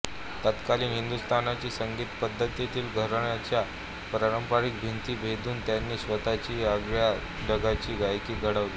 तत्कालीन हिंदुस्तानी संगीतपद्धतीतील घराण्यांच्या पारंपरिक भिंती भेदून त्यांनी स्वतःची आगळ्या ढंगाची गायकी घडवली